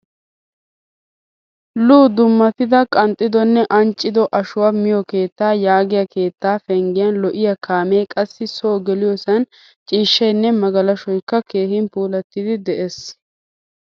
Lu dummatida qanxxidonne anccido ashshuwaa miiyo keetta yaagiyaa keetta penggiyan lo'iyaa kaame, qassi so geliyosan ciishshaynne magalashshoykka keehin puulattida de'ees.